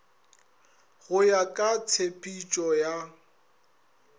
go ya ka tshepetšo ya